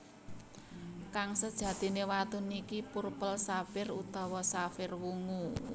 Kang sejatiné watu niki purple saphire utawa safir wungu